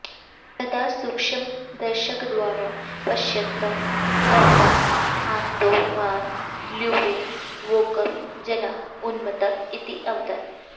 सदा सूक्ष्मदर्शकद्वारा पश्यन्तम् एतम् आन्तोन् वान् ल्यूवेन् वोकं जनाः उन्मत्तः इति अवदन्